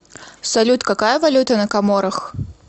салют какая валюта на коморах